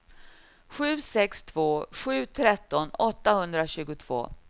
sju sex två sju tretton åttahundratjugotvå